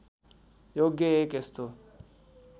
योग्य एक यस्तो